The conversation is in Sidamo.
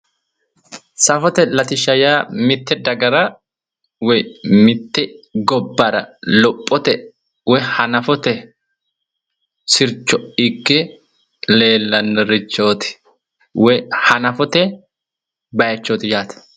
safote latishsha yaa mitte dagara woyi mitte gobbara lophote woyi hanafote sircho ikke leellannorichooti woyi hanafote bayiichooti yaate.